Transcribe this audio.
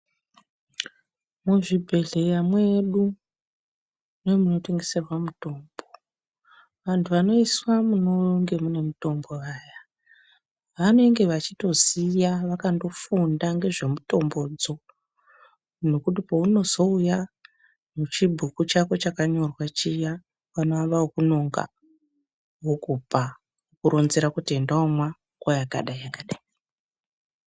Muzvibhehleya mwedu nemunotengeserwa mutombo vantu vanoiswa munenge mune mutombo vaya vanenge vachitoziya vakafundira nezvemutombodzo nekuti paunozouya nechibhuku chako chakanyorwa chiya vanoamba nekunonga vokupa vokironzera kuti enda womwa nguwa yakadai yakadai.